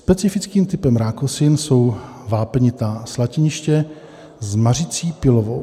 Specifickým typem rákosin jsou vápnitá slatiniště s mařicí pilovitou.